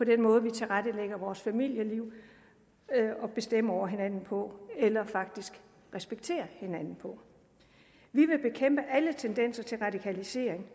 den måde vi tilrettelægger vores familieliv og bestemmer over hinanden på eller faktisk respekterer hinanden på vi vil bekæmpe alle tendenser til radikalisering